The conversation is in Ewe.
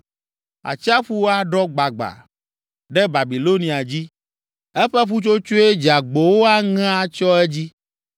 Atsiaƒu aɖɔ agbagba ɖe Babilonia dzi eƒe ƒutsotsoe dzeagbowo aŋe atsyɔ edzi.